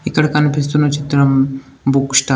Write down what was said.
ఇక్కడ కనిపిస్తున్న చిత్రం బుక్ స్టాల్ .